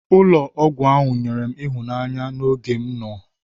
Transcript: Ụlọ ọgwụ ahụ nyere m ịhụnanya n'oge m nọ.